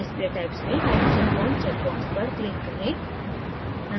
display typesमें hydrogen bond check box पर click करें